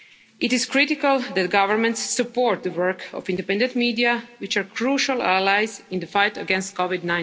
rights. It is critical that governments support the work of the independent media, which are crucial allies in the fight